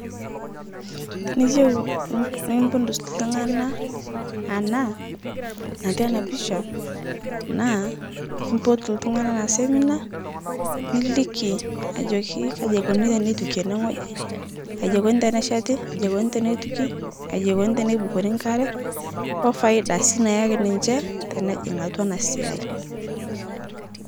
Tiniyeu nipudus ltung'ana ana natii ana pisha naa, ipotu ltung'ana ana semina niliki ajoki kaji eikoni teneituki ene ng'oji, aiji eikoni tenesheti, aji eikoni tenetuki, aji eikoni tenebukori nkare, ofaida sii nayiaki niche tenejing' atwa ana siai.